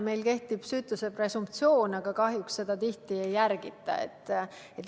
Meil kehtib süütuse presumptsioon, aga kahjuks seda tihti ei järgita.